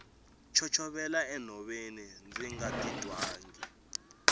chochovela enhoveni ndzi nga titwangi